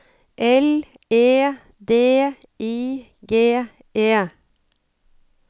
L E D I G E